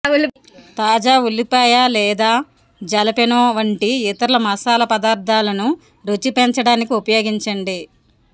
తాజా ఉల్లిపాయ లేదా జలపెనో వంటి ఇతర మసాలా పదార్ధాలను రుచి పెంచడానికి ఉపయోగించండి